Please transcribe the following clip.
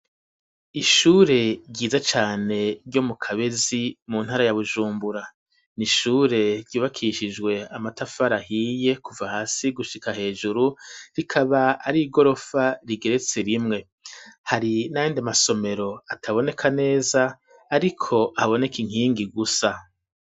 Ishure ryiza cane ryo mu Kabezi mu ntara ya Bujumbura. ni ishure ryubakishijwe amatafari ahiye kuva hasi gushika hejuru, rikaba ari igorofa, rigeretse rimwe. Hari n'ayandi masomero ataboneka neza, ariko haboneka inkingi gusa.